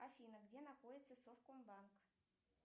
афина где находится совкомбанк